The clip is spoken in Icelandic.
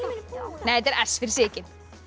nei þetta er s fyrir Sigyn